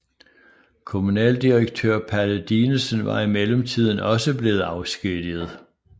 Kommunaldirektør Palle Dinesen var i mellemtiden også blevet afskediget